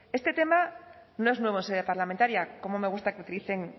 este tema no es nuevo en sede parlamentaria como me gusta que utilicen